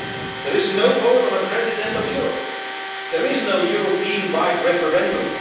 There is no vote on a President of Europe, there is no European wide referendum.